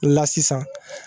La sisan